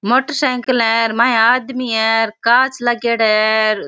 Motor cycle है माये आदमी है और कांच लागेड़ा है।